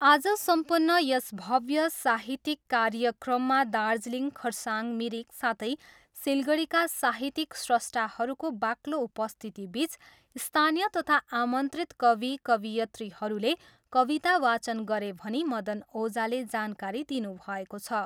आज सम्पन्न यस भव्य साहित्यिक कार्यक्रममा दार्जिलिङ, खरसाङ, मिरिक साथै सिलगढीका साहित्यिक स्रष्टाहरूको बाक्लो उपस्थितिबिच स्थानीय तथा आमन्त्रित कवि कवयित्रीहरूले कविता वाचन गरे भनी मदन ओझाले जानकारी दिनुभएको छ।